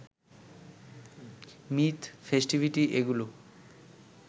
myth, festivity এগুলো